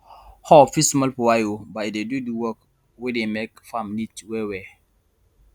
hoe fit small for eye o but e dey do d work wey dey make farm neat well well